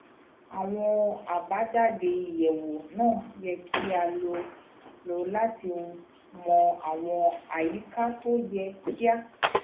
àwọn àbájáde ìyẹwò náà yẹ kí a lò lò láti mọ àwọn àyíká tó yẹ kí a